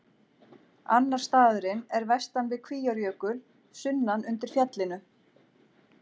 Annar staðurinn er vestan við Kvíárjökul, sunnan undir fjallinu.